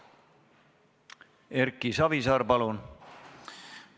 Erki Savisaar, palun!